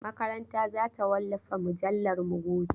Makaranta za ta wallafa mujallarmu gobe.